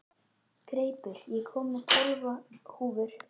Greipur, ég kom með tólf húfur!